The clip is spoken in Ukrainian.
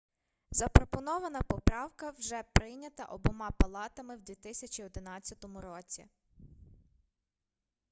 запропонована поправка вже прийнята обома палатами в 2011 році